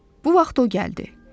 Bu vaxt o gəldi.